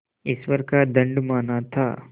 ईश्वर का दंड माना था